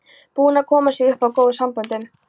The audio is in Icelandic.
Búinn að koma sér upp góðum samböndum.